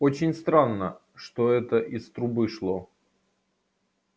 очень странно что это из трубы шло